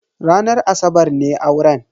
Ranar asabar ne auren.